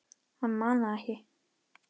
Hann man það ekki.